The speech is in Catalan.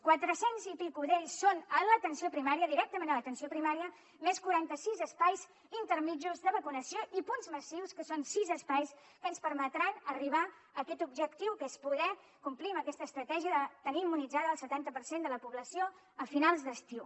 quatre cents i escaig d’ells són a l’atenció primària directament a l’atenció primària més quaranta sis espais intermedis de vacunació i punts massius que són sis espais que ens permetran arribar a aquest objectiu que és poder complir amb aquesta estratègia de tenir immunitzat el setanta per cent de la població a finals d’estiu